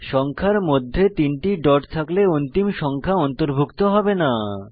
সংখ্যার মধ্যে 3 টি ডট থাকলে অন্তিম সংখ্যা অন্তর্ভুক্ত হবে না